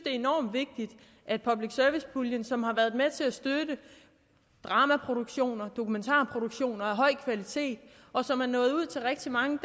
enormt vigtigt at public service puljen som har været med til at støtte dramaproduktioner og dokumentarproduktioner af høj kvalitet og som er nået ud til rigtig mange